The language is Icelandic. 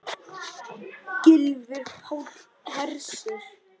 Gylfi Páll Hersir.